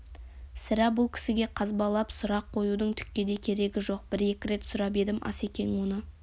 сірә бұл кісіге қазбалап сұрақ қоюдың түкке де керегі жоқ бір-екі рет сұрап едім асекең оны